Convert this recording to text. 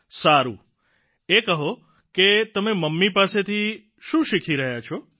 સારૂં એ કહો કે તમે મમ્મી પાસેથી શું શીખી રહ્યા છો